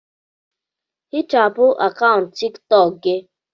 Hichapụ akaụntụ tiktok gị!